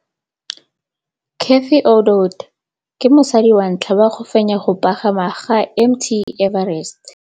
Cathy Odowd ke mosadi wa ntlha wa go fenya go pagama ga Mt Everest.